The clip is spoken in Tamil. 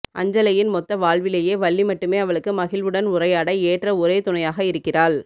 அஞ்சலையின் மொத்த வாழ்விலேயே வள்ளி மட்டுமே அவளுக்கு மகிழ்வுடன் உரையாட ஏற்ற ஒரே துணையாக இருக்கிறாள்